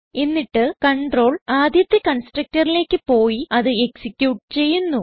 എന്നിട്ട് കണ്ട്രോൾ ആദ്യത്തെ constructorലേക്ക് പോയി അത് എക്സിക്യൂട്ട് ചെയ്യുന്നു